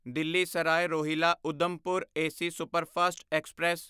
Delhi Sarai Rohilla Udhampur AC superfast express